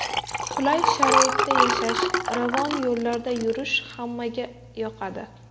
Qulay sharoitda yashash, ravon yo‘llarda yurish hammaga yoqadi.